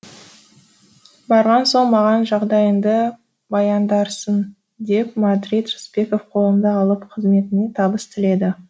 барған соң маған жағдайыңды баяндарсың деп мадрид рысбеков қолымды алып қызметіме табыс тіледі